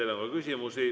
Teile on ka küsimusi.